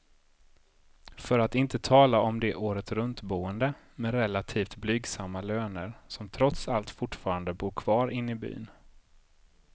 För att inte tala om de åretruntboende med relativt blygsamma löner, som trots allt fortfarande bor kvar inne i byn.